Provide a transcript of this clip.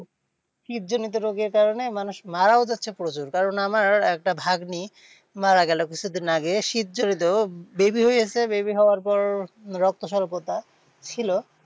শীতজনীত রোগের কারণে মানুষ মারাও যাচ্ছে প্রচুর। কারণ আমার একটা ভাগ্নী মারা গেলো কিছুদিন আগে শীতজনীত baby হয়ে গেছে baby হওয়ার পর রক্তস্বল্পতা ছিল,